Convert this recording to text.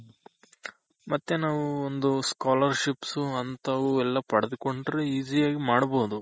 ಮತ್ತೆ ನಾವು ಒಂದು Scholarships ಅಂತವು ಎಲ್ಲ ಪಡೆದ್ಕೊಂಡ್ರೆ easy ಯಾಗ್ ಮಾಡ್ಬೋದು.